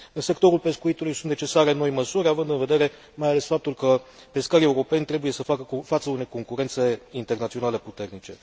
În sectorul pescuitului sunt necesare noi măsuri având în vedere mai ales faptul că pescarii europeni trebuie să facă față unei concurențe internaționale puternice.